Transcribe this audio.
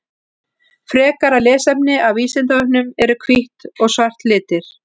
Frekara lesefni af Vísindavefnum: Eru hvítt og svart litir?